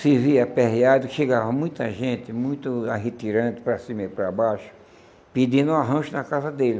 Se via aperreado, que chegava muita gente, muito arretirante, para cima e para baixo, pedindo um arranjo na casa dele.